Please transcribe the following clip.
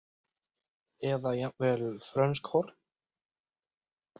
Eða jafnvel frönsk horn?